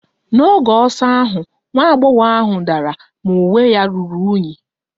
N'oge ọsọ ahụ, nwa agbọghọ ahụ dara ma uwe ya ruru unyi